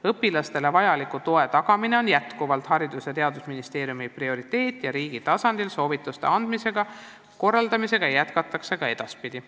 Õpilastele vajaliku toe tagamine on endiselt Haridus- ja Teadusministeeriumi prioriteet ja riigi tasandil soovituste andmist ja korraldustööd jätkatakse ka edaspidi.